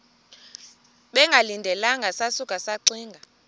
bengalindelanga sasuka saxinga